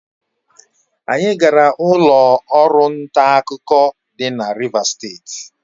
Anyị gara ụlọ ọrụ nta akụkọ dị na Rivas steeti.